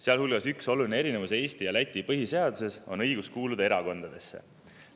Sealhulgas on üks oluline erinevus Eesti ja Läti põhiseaduse vahel, erinev on nimelt õigus kuuluda erakondadesse.